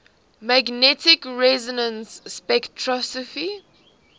magnetic resonance spectroscopy